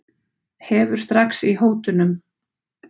Hefur strax í hótunum.